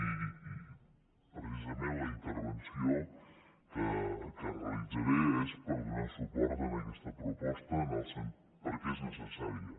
i precisament la intervenció que realitzaré és per donar suport a aquesta proposta perquè és necessària